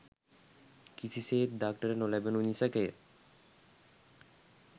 කිසිසේත් දක්නට නොලැබෙනු නිසැකය